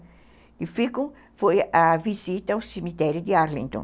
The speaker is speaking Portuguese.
Que ficam foi a visita ao cemitério de Arlington.